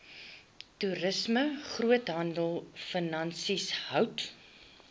toerisme groothandelfinansies hout